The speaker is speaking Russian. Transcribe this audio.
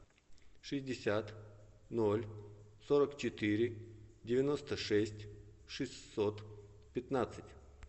шестьдесят ноль сорок четыре девяносто шесть шестьсот пятнадцать